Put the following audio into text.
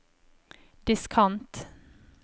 diskant